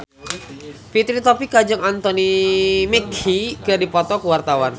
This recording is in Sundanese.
Fitri Tropika jeung Anthony Mackie keur dipoto ku wartawan